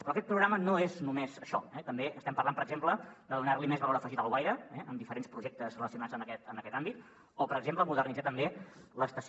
però aquest programa no és només això eh també estem parlant per exemple de donar més valor afegit a alguaire eh amb diferents projectes relacionats amb aquest àmbit o per exemple modernitzar també l’estació